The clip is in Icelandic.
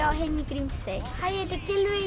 Grímsey hæ ég heiti Gylfi